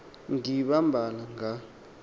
gqi iimbabala nga